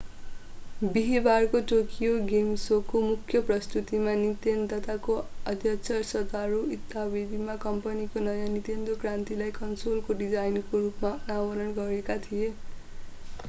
बिहीबारको Tokyo game शोको मुख्य प्रस्तुतीमा निन्तेन्दोका अध्यक्ष सतोरू इवाताले कम्पनीको नयाँ निन्तेन्दो क्रान्तिलाई कन्सोलको डिजाइनको रूपमा अनावरण गरेका थिए